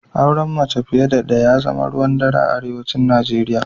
Auren mace fiye da ɗaya ya zama ruwan dare a arewacin Najeriya